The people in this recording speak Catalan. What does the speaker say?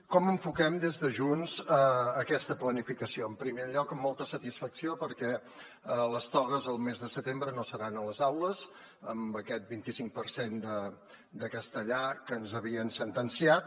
com enfoquem des de junts aquesta planificació en primer lloc amb molta satisfacció perquè les togues el mes de setembre no seran a les aules amb aquest vint i cinc per cent de castellà que ens havien sentenciat